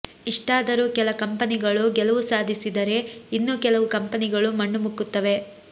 ಇಷ್ಟಾದರೂ ಕೆಲ ಕಂಪೆನಿಗಳು ಗೆಲವು ಸಾಧಿಸಿದರೆ ಇನ್ನು ಕೆಲವು ಕಂಪೆನಿಗಳು ಮಣ್ಣು ಮುಕ್ಕುತ್ತವೆ